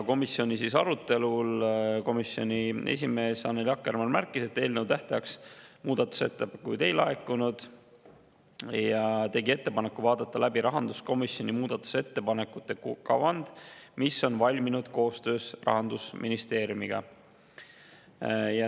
Komisjoni arutelul märkis komisjoni esimees Annely Akkermann, et tähtajaks muudatusettepanekuid ei laekunud, ja tegi ettepaneku vaadata läbi rahanduskomisjoni muudatusettepanekute kavand, mis on valminud koostöös Rahandusministeeriumiga.